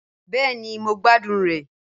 Bẹẹni Mo gbadun rẹ.